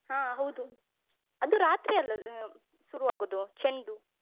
ಹ ಹೌದು. ಅದು ರಾತ್ರಿ ಅಲ್ಲ ಆ ಶುರುವಾಗೋದು ಚೆಂಡು?